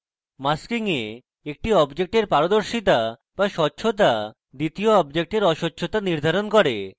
masking এ একটি অবজেক্টের পারদর্শিতা বা স্বচ্ছতা দ্বিতীয় অবজেক্টের অস্বচ্ছতা নির্ধারণ করে